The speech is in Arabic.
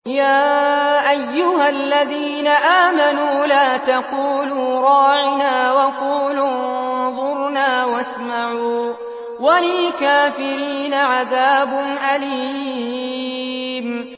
يَا أَيُّهَا الَّذِينَ آمَنُوا لَا تَقُولُوا رَاعِنَا وَقُولُوا انظُرْنَا وَاسْمَعُوا ۗ وَلِلْكَافِرِينَ عَذَابٌ أَلِيمٌ